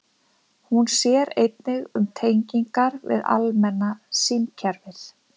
Hún sér einnig um tengingar við almenna símkerfið.